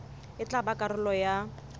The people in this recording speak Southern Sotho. e tla ba karolo ya